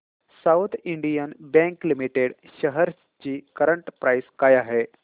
south Indian Bank Limited shares ची current price काय आहे